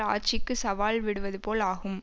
ஆட்சிக்கு சவால் விடுவதுபோல் ஆகும்